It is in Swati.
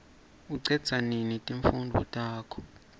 ucedza nini timfundvo takho